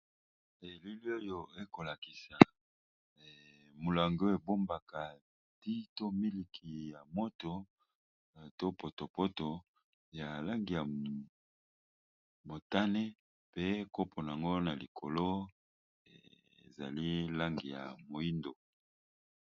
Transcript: Elili oyo ekolakisa mulangi ebombaka tea to miliki ya moto to potopoto ya langi ya motane pe koponango na likolo ezali langi ya moindo